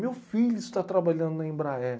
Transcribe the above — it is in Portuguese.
Meu filho está trabalhando na Embraer.